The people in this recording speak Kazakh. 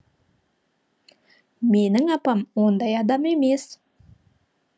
менің апам ондай адам емес